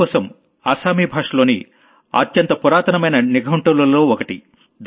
హేమకోశం అస్సామీ భాషలోని అత్యంత పురాతనమైన డిక్ష్నరీలలో ఒకటి